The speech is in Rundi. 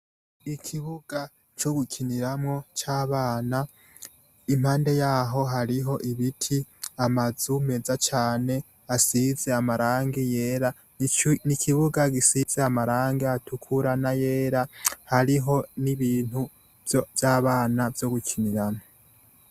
ikibuga cyo gukiniramo cy'abana impande yaho hariho ibiti amazu meza cyane asize amarangi yera nikibuga gisize amarangi atukura na yera hariho n'ibintu by'abana byo gukiniramo